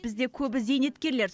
бізде көбі зейнеткерлер